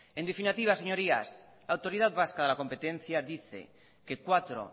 en definitiva señorías la autoridad vasca de la competencia dice que cuatro